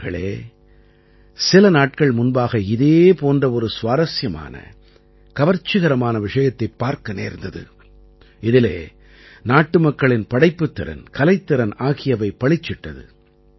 நண்பர்களே சில நாட்கள் முன்பாக இதே போன்ற ஒரு சுவாரசியமான கவர்ச்சிகரமான விஷயத்தைப் பார்க்க நேர்ந்தது இதிலே நாட்டுமக்களின் படைப்புத் திறன் கலைத்திறன் ஆகியவை பளிச்சிட்டது